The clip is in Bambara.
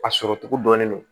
A sɔrɔ cogo dɔnnen don